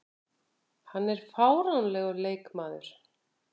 Hann er fáránlegur leikmaður.